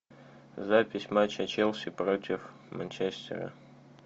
запись матча челси против манчестера